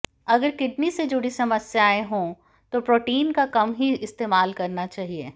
अगर किडनी से जुड़ी समस्याएं हों तो प्रोटीन का कम ही इस्तेमाल करना चाहिए